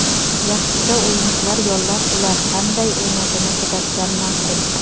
Yaxshisi o‘yinchilar yollab, ular qanday o‘ynashini kuzatgan ma’qul.